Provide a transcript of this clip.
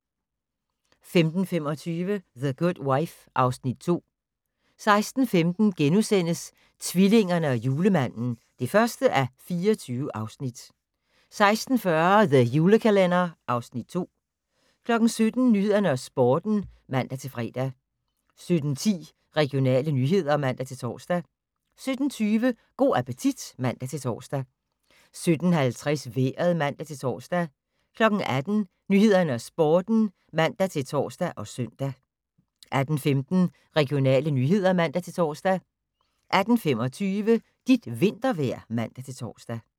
15:25: The Good Wife (Afs. 2) 16:15: Tvillingerne og Julemanden (1:24)* 16:40: The Julekalender (Afs. 2) 17:00: Nyhederne og Sporten (man-fre) 17:10: Regionale nyheder (man-tor) 17:20: Go' appetit (man-tor) 17:50: Vejret (man-tor) 18:00: Nyhederne og Sporten (man-tor og søn) 18:15: Regionale nyheder (man-tor) 18:25: Dit vintervejr (man-tor)